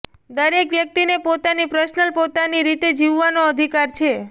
દરેક વ્યકિતને પોતાની પર્સનલ પોતાની રીતે જીવવાનો અધિકાર છે